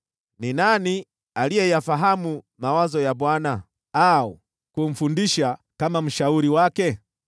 Ni nani aliyeyafahamu mawazo ya Bwana , au kumfundisha akiwa kama mshauri wake?